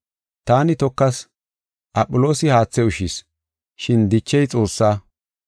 Taani tokas; Aphiloosi haathe ushshis, shin dichey Xoosse.